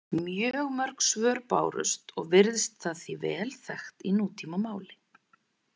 Mjög mörg svör bárust og virðist það því vel þekkt í nútímamáli.